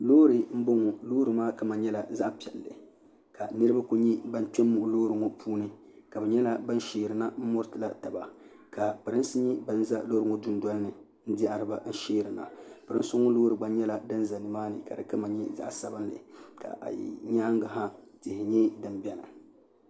loori n bɔŋɔ loori maa kama nyɛla zaɣ piɛlli ka niraba ku nyɛ ban kpɛ n muɣi loori ŋɔ puuni ka bi nyɛla ban sheerina n muritila taba ka pirinsi nyɛ bin ʒɛ loori ŋɔ dundɔli ni n diɛhariba n sheerina pirinsi ŋɔ loori gba nyɛla din ʒɛ nimaani ka di kama nyɛ zaɣ sabinli ka a lihi nyaangi ha tihi nyɛ din biɛni